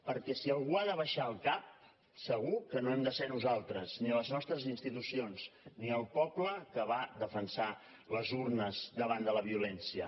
perquè si algú ha d’abaixar el cap segur que no hem de ser nosaltres ni les nostres institucions ni el poble que va defensar les urnes davant de la violència